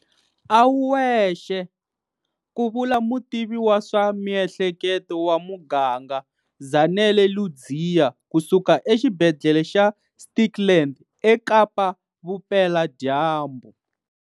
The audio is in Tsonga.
A wu wexe, ku vula mutivi wa swa miehleketo wa muganga Zanele Ludziya ku suka eXibedhlele xa Stikland eKapa-Vupeladyambu.